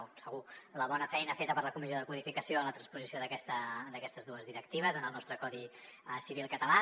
o segur la bona feina feta per la comissió de codificació en la transposició d’aquestes dues directives en el nostre codi civil català